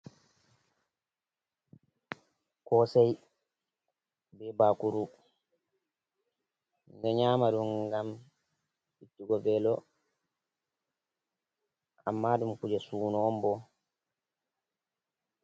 Kosei be bakuru, ɗo nyama ɗum ngam ittugo velo, amma ɗum kuje suno on bo.